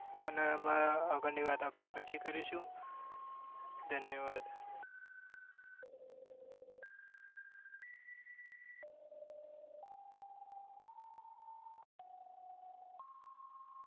અને એમાં આગળ ની વાત પછી કરીશું ધન્યવાદ